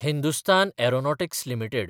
Hindustan aeronautics limited